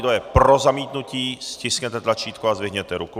Kdo je pro zamítnutí, stiskněte tlačítko a zvedněte ruku.